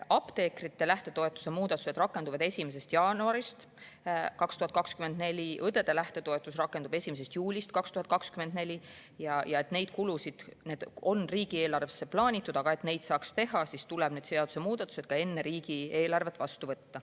Apteekrite lähtetoetuse muudatused rakenduvad 1. jaanuarist 2024, õdede lähtetoetus rakendub 1. juulist 2024 ja need kulud on riigieelarvesse plaanitud, aga et neid saaks teha, siis tuleb need seadusemuudatused vastu võtta enne riigieelarvet.